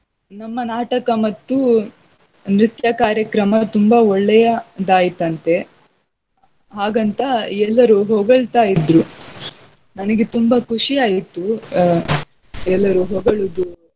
ನಮ್ಮ ನಾಟಕ ಮತ್ತು ನೃತ್ಯ ಕಾರ್ಯಕ್ರಮ ತುಂಬಾ ಒಳ್ಳೆಯ ದಾಯಿತಂತೆ ಹಾಗಂತ ಎಲ್ಲರು ಹೊಗಳ್ತಾಯಿದ್ರು ನನಗೆ ತುಂಬಾ ಖುಷಿಯಾಯ್ತು ಆಹ್ ಎಲ್ಲರು ಹೋಗಳುವುದು.